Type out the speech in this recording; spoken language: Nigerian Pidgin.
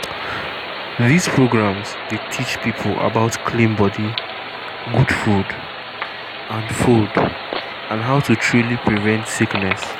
these programs dey teach people about clean body good food and food and how to truly prevent sickness.